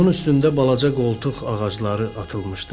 Qumun üstündə balaca qoltuq ağacları atılmışdı.